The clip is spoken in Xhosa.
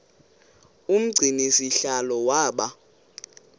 umgcini sihlalo waba